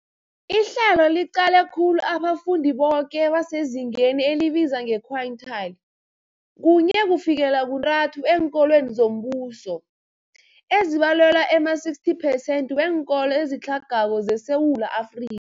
Ihlelo liqale khulu abafundi boke abasezingeni elibizwa nge-quintile 1-3 eenkolweni zombuso, ezibalelwa ema-60 percent weenkolo ezitlhagako zeSewula Afri